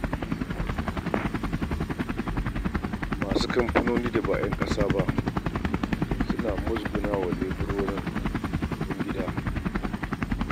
Masu kamfanoni da ba ƴan ƙasa ba suna musguna wa leburorin ƴan gida.